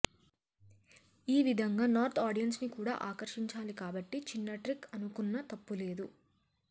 ఓ విధంగా north audience ని కూడా ఆకర్షించాలి కాబట్టి చిన్న ట్రిక్ అనుకున్న తప్పులేదు